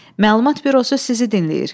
Məlumat Bürosu sizi dinləyir.